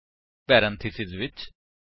ਪਹਿਲਾਂ ਇੱਕ parameterized constructor ਬਨਾਓ